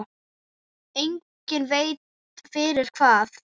Enginn veit fyrir hvað.